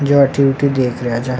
जे अति वटि देख रिया छे।